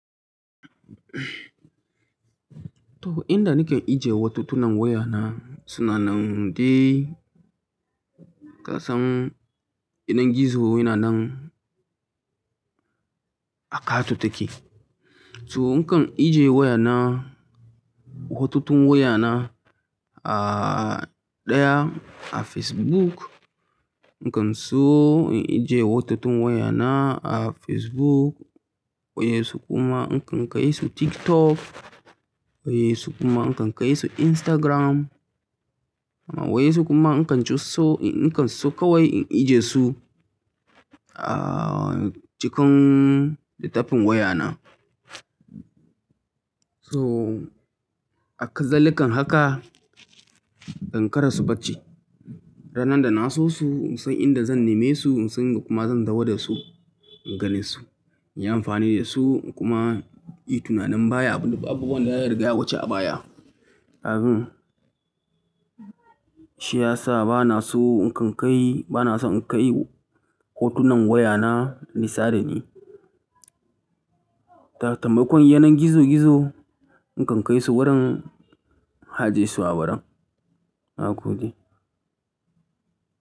Toh, inda nake ajiye hotunan wayana, sunanan dai kasan yanar gizo yana nan a ƙato take. To, nakan ajiye wayana, hotunan wayana a ɗaya a Facebook. Nakan so in ajiye hotunan wayana a Facebook, wasu kuma in kai su TikTok, wasu kuma nakan kai su Instagram. Wasu kuma nakan ci so, nakan so kawai in ajiye su a cikin littafin wayana. So hakazalika haka dan in ƙarasa barci. Ranar da na so su, in san inda zan neme su, in san yanda kuma zan dawo da su, in ganin su, in yi amfani da su, in kuma yi tunanin baya, abubuwan da ya riga ya wace a baya. Abun shi ya sa ba na so in kai, ba na so in kai hotunan wayana nisa da ni. Ta taimakon yanar gizo gizo, na kan kai su wurin, in ajiyesu a wurin, na gode.